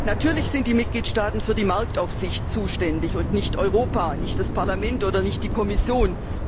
Natürlich sind die Mitgliedstaaten für die Marktaufsicht zuständig und nicht Europa, nicht das Parlament oder nicht die Kommission.